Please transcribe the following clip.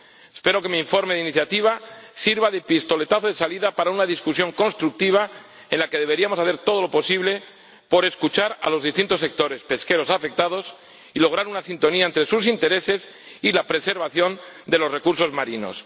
Espero que mi informe de iniciativa sirva de pistoletazo de salida para un debate constructivo en el que deberíamos hacer todo lo posible por escuchar a los distintos sectores pesqueros afectados y lograr una sintonía entre sus intereses y la preservación de los recursos marinos.